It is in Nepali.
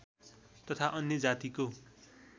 तथा अन्य जातिको